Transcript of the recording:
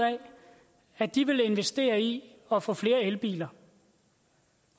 at de vil investere i at få flere elbiler